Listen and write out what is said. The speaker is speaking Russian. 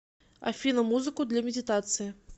афина музыку для медитации